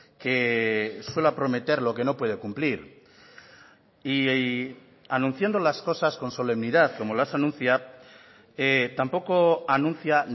que suela prometer lo que no puede cumplir y anunciando las cosas con solemnidad como las anuncia tampoco anuncia